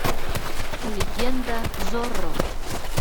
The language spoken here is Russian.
легенда зорро